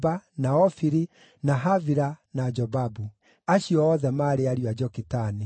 na Ofiri, na Havila, na Jobabu. Acio othe maarĩ ariũ a Jokitani.